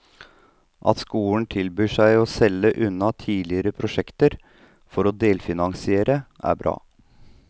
At skolen tilbyr seg å selge unna tidligere prosjekter for å delfinansiere, er bra.